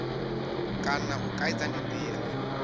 kana u kaidza ndi ndila